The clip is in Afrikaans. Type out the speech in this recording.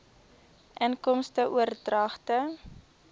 inkomste oordragte